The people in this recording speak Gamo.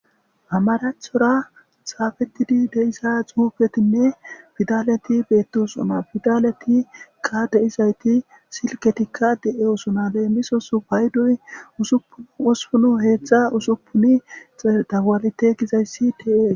amaracthora saafetidi deisa xuupetinne fidaleti beettisona fidaletikka deizayti silketikka de7e usona leemisosu payduy usupun usupunu heetzxha usupuni dagalite gizayssi ti7e